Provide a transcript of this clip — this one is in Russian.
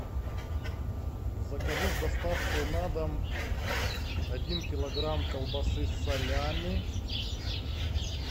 закажи с доставкой на дом один килограмм колбасы салями